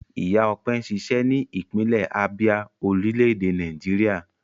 Ìyá Ọpẹ́ ń ṣiṣẹ́ ní ìpínlẹ̀ Abia, orílẹ̀-èdè Nàìjíríà.